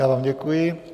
Já vám děkuji.